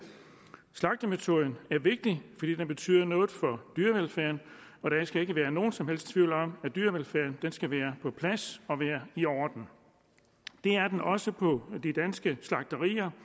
slagtemetoden er vigtig fordi den betyder noget for dyrevelfærden og der skal ikke være nogen som helst tvivl om at dyrevelfærden skal være på plads og være i orden det er den også på de danske slagterier